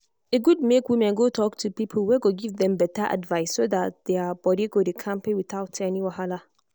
e good make women go talk to people wey go give them better advice so that their body go dey kampe without any wahala.